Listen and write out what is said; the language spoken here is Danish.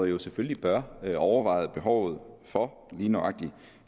jo selvfølgelig bør overveje behovet for lige nøjagtig